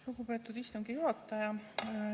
Lugupeetud istungi juhataja!